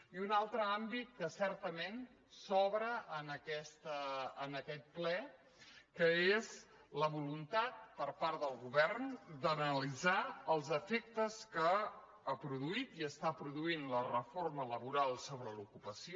i un altre àmbit que certament s’obre en aquest ple que és la voluntat per part del govern d’analitzar els efectes que ha produït i està produint la reforma laboral sobre l’ocupació